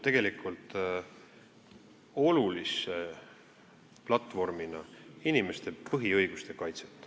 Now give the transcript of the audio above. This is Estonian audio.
See eelnõu puudutab olulise platvormina inimeste põhiõiguste kaitset.